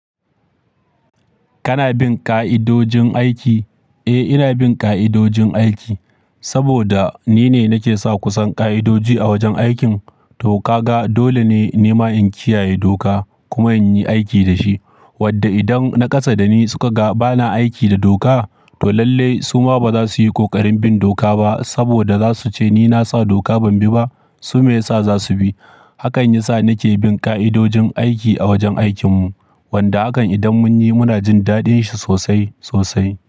Kana bin ka'idojin aiki? Eh, ina bin ka'idojin aiki saboda nine nake sa kusan ka'idoji a wajen aikin. To, kaga dole ne nima in kiyaye doka kuma in yi aiki da shi, wadda idan na kasa da ni suka ga bana aiki da doka, to lallai su ma ba za su yi ƙoƙarin bin doka ba saboda za su ce "ni na sa doka ban bi ba, su me ya sa za su bi?" Hakan ya sa nake bin ka'idojin aiki a wajen aikinmu wanda hakan idan mun yi, muna jin daɗin shi sosai sosai.